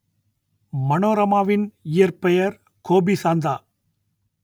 மனோரமாவின் இயற்பெயர் கோபிசாந்தா